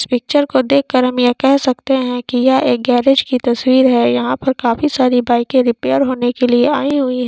इस पिक्चर को देख कर हम यह कह सकते है की यह एक गेरेज की तस्वीर है यहा पर काफी सारी बाईके रिपेर होने के लिए आई हुयी है।